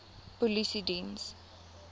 polisiediens